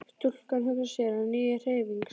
Stúlkan hugsar sér á ný til hreyfings.